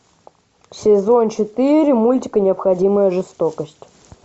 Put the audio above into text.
сезон четыре мультик необходимая жестокость